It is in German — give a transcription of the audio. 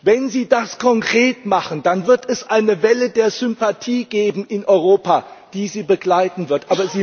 Wenn Sie das konkret machen, dann wird es eine Welle der Sympathie in Europa geben, die Sie begleiten wird.